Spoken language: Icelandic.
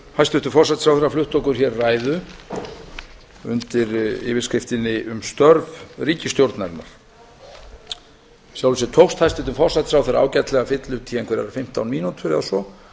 hæstvirtur forsætisráðherra flutti okkur hér ræðu undir yfirskriftinni um störf ríkisstjórnarinnar í sjálfu sér tókst hæstvirtum forsætisráðherra ágætlega að fylla út í einhverjar fimmtán mínútur eða svo